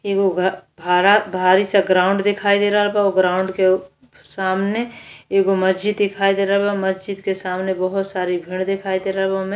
एगो घ भरा भरी से ग्राउंड दिखाई दे रहल बा। वो ग्राउंड के सामने एगो महजिद दिखाई दे रहल बा। महजिद के सामने बहुत सारे घर दिखाई दे रहल बा ओने।